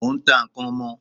Mò n ta n'kan ọmọ